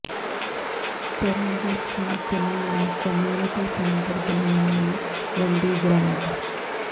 ਚਰਨਜੀਤ ਸਿੰਘ ਚੰਨੀ ਨੇ community centre ਬਣਾਉਣ ਲਈ ਵੰਡੀ ਗ੍ਰਾਂਟ